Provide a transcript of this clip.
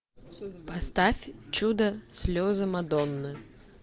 поставь чудо слезы мадонны